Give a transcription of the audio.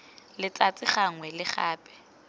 letsatsi gangwe le gape go